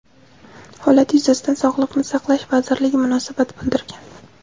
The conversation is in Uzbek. Holat yuzasidan Sog‘liqni saqlash vazirligi munosabat bildirgan.